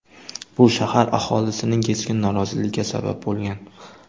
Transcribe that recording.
Bu shahar aholisining keskin noroziligiga sabab bo‘lgan.